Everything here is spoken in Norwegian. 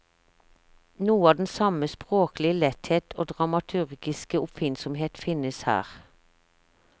Noe av den samme språklige letthet og dramaturgiske oppfinnsomhet finnes her.